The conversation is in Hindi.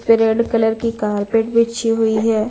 पे रेड कलर की कार्पेट बिछी हुई है।